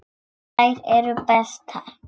Þær eru bestar.